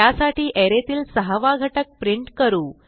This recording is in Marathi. त्यासाठी अरे तील सहावा घटक प्रिंट करू